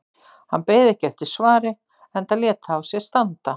Hann beið ekki eftir svari enda lét það á sér standa.